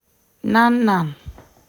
nan nan